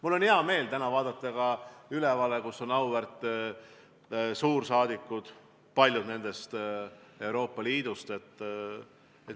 Mul on hea meel vaadata täna ka sinna ülespoole, kus istuvad auväärt suursaadikud, paljud nendest Euroopa Liidust.